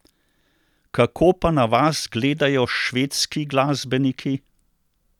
Kako pa na vas gledajo švedski glasbeniki?